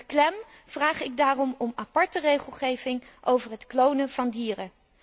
Met klem vraag ik daarom om aparte regelgeving over het klonen van dieren.